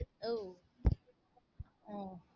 உம்